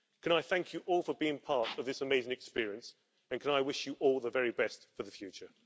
Can I thank you all for being part of this amazing experience and can I wish you all the very best for the future.